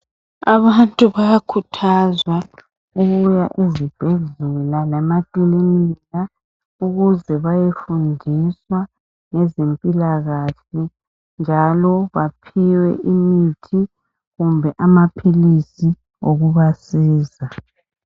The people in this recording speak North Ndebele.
Abantu bayakhuthazwa ukuya ezibhedlela lasemakilinika ukuze bayafundiswa ngezempilakahle njalo baphiwe imithi kumbe amaphilisi yokubasiza.